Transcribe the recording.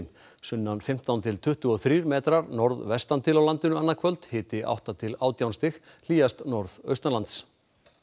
sunnan fimmtán til tuttugu og þrír metrar norðvestan til á landinu annað kvöld hiti átta til átján stig hlýjast norðaustanlands